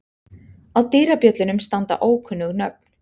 Á dyrabjöllunum standa ókunnug nöfn.